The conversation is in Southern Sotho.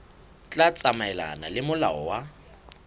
tla tsamaelana le molao wa